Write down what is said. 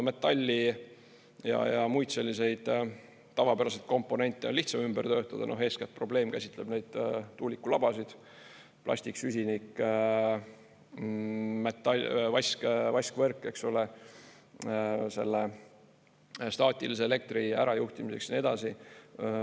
Metalli ja muid selliseid tavapäraselt komponente on lihtsam ümber töötada, eeskätt probleem käsitleb neid tuulikulabasid: plastik, süsinik, vaskvõrk, eks ole, staatilise elektri ärajuhtimiseks ja nii edasi.